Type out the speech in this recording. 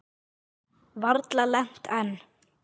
Varla lent enn.